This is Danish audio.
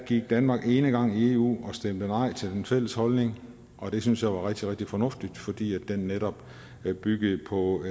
gik danmark enegang i eu og stemte nej til den fælles holdning og det synes jeg var rigtig rigtig fornuftigt fordi den netop byggede på